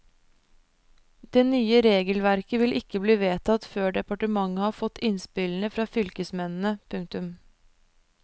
Det nye regelverket vil ikke bli vedtatt før departementet har fått innspillene fra fylkesmennene. punktum